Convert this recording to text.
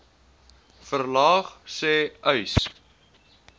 verlaag sê uys